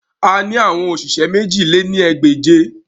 A ni awọn oṣiṣẹ mèjì lé ní ẹgbẹ́je